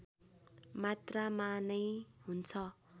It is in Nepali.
मात्रामा नै हुन्छ